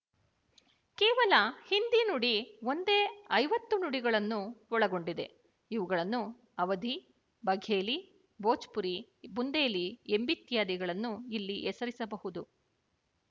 ಕೇವಲ ಹಿಂದಿ ನುಡಿ ಒಂದೇ ಐವತ್ತು ನುಡಿಗಳನ್ನು ಒಳಗೊಂಡಿದೆ ಇವುಗಳನ್ನು ಅವಧಿ ಬಘೇಲಿ ಭೋಜ್ಪುರಿ ಬುಂದೆಲಿ ಎಂಬಿತ್ಯಾದಿಗಳನ್ನು ಇಲ್ಲಿ ಹೆಸರಿಸಬಹುದು